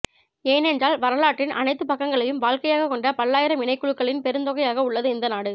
ஏனென்றால் வரலாற்றின் அனைத்துப்பக்கங்களையும் வாழ்க்கையாகக் கொண்ட பல்லாயிரம் இனக்குழுக்களின் பெருந்தொகையாக உள்ளது இந்த நாடு